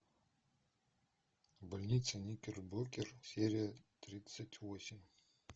больница никербокер серия тридцать восемь